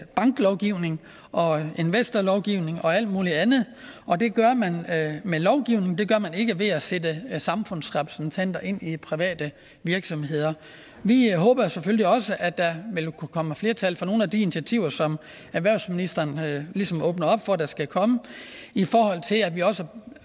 banklovgivning og investorlovgivning og alt muligt andet og det gør man med lovgivning det gør man ikke ved at sætte samfundsrepræsentanter ind i private virksomheder vi håber jo selvfølgelig også at der vil kunne komme et flertal for nogle af alle de initiativer som erhvervsministeren ligesom åbner op for at der skal komme i forhold til